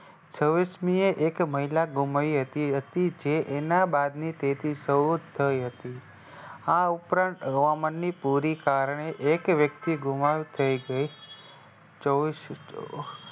છવીસમીએ એક મહિલા ઘુમાઈ હતી. અતિ છે તેના બા આ ઉપરાંત હવામાનની પૂરી કારણે એક વ્યક્તિ ઘુમાવ થઈ ગઈ.